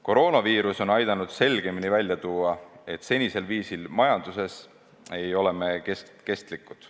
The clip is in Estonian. Koroonaviirus on aidanud selgemini välja tuua, et senisel viisil majandades ei ole me kestlikud.